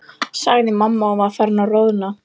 sagði mamma og var farin að roðna.